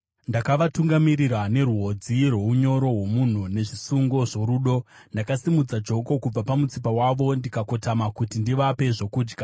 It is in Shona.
Ndakavatungamirira nerwodzi rwounyoro hwomunhu, nezvisungo zvorudo; ndakasimudza joko kubva pamutsipa wavo ndikakotama kuti ndivape zvokudya: